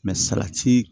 salati